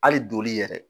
Hali donli yɛrɛ